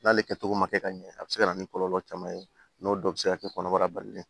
N'ale kɛ cogo ma kɛ ka ɲɛ a bɛ se ka na ni kɔlɔlɔ caman ye n'o dɔw bɛ se ka kɛ kɔnɔbara balilen